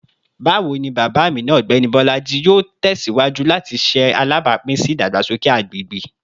Bawo ni baba Amina, Ọgbẹni Bolaji, yoo tẹsiwaju lati ṣe alabapin si idagbasoke agbegbe?